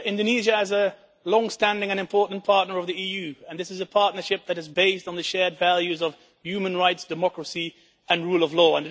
Mr President, Indonesia is a longstanding and important partner of the EU, and this is a partnership that is based on the shared values of human rights, democracy and the rule of law.